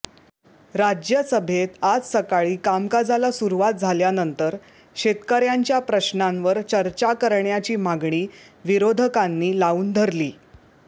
राज्यसभेत आज सकाळी कामकाजाला सुरूवात झाल्यानंतर शेतकऱ्यांच्या प्रश्नांवर चर्चा करण्याची मागणी विरोधकांनी लावून धरली